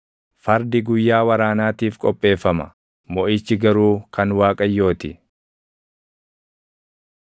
Fardi guyyaa waraanaatiif qopheeffama; moʼichi garuu kan Waaqayyoo ti.